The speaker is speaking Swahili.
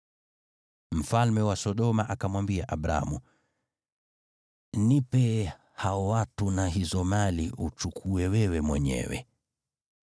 Mfalme wa Sodoma akamwambia Abramu, “Nipe hao watu na hizo mali uchukue wewe mwenyewe.”